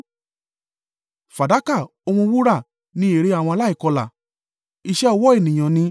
Fàdákà òun wúrà ni èrè àwọn aláìkọlà, iṣẹ́ ọwọ́ ènìyàn ni.